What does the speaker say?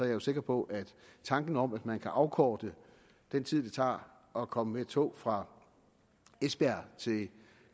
jo sikker på at tanken om at man kan afkorte den tid det tager at komme med tog fra esbjerg til